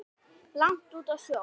langt úti á sjó.